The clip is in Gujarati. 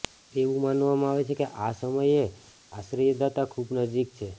એવું માનવામાં આવે છે કે આ સમયે આશ્રયદાતા ખૂબ નજીક છે